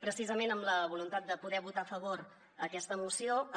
precisament amb la voluntat de poder votar a favor aquesta moció